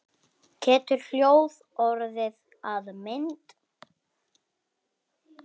Getur hljóð orðið að mynd?